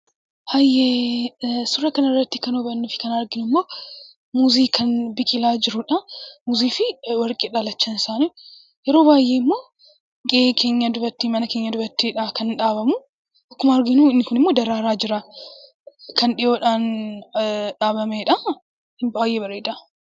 Suuraa kanarratti kan arginuu fi kan hubannu immoo muuzii kan biqilaa jirudha. Muuzii fi warqeedha lachan isaanii yeroo baay'ee mana keenya birattidha kan dhaabamu. Akkuma arginu inni kunimmoo daraaraa jira. Kan dhiyoodhaan dhaabameedha baay'ee bareeda.